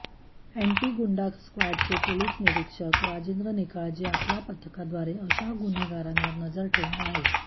anti गुंडा स्क्वॉडचे police निरीक्षक राजेंद्र निकाळजे आपल्या पथकाद्वारे अशा गुन्हेगारांवर नजर ठेऊन आहेत